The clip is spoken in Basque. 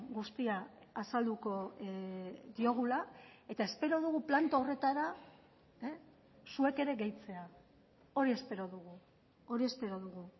guztia azalduko diogula eta espero dugu planto horretara zuek ere gehitzea hori espero dugu hori espero dugu